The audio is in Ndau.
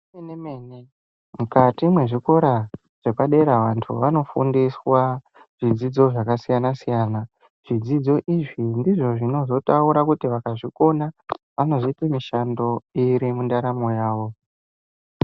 Zve mene mene mukati mwe zvikora zvepa dera antu vano fundiswa zvidzidzo zvaka siyana siyana zvidzidzo izvi ndizvo zvinozo taura kuti vakazvi kona ano zoite mishando iri mu ndaramo yavo.